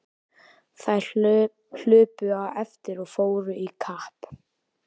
Þær hlupu á eftir og fóru í kapp.